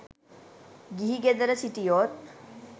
ගිහි ගෙදර සිටියොත්